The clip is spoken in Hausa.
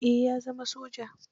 Eh ya zama soja.